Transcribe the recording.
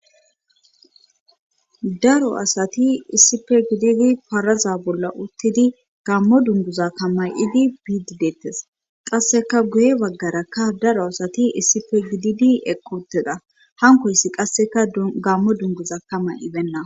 daro asati issipe gididi paraza bolla uttidi gammo dunguza ka ma'idi biidi deettes qasseka guye baggarakka daro asati issife gididi eqqi uttida hankoyssi qasseka gammo dunguza ka ma'ibenna